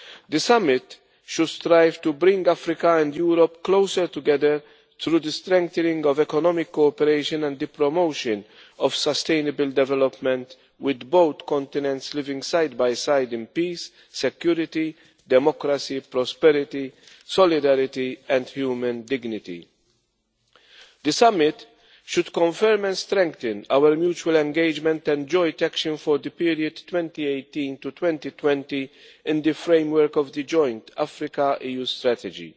The summit should strive to bring Africa and Europe closer together through the strengthening of economic cooperation and the promotion of sustainable development, with both continents living side by side in peace, security, democracy, prosperity, solidarity and human dignity. The summit should confirm and strengthen our mutual engagement and joint action for the period 2018 to 2020 in the framework of the Joint Africa EU Strategy.